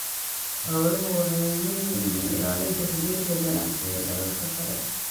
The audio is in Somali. Xooluhu waxay muhiim u yihiin ilaalinta xidhiidhka ganacsi ee dalalka kale.